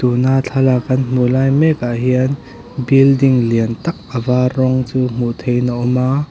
tuna thlalak kan hmuh lai mek ah hian building lian tak a var rawng chu hmuh theih in a awm a--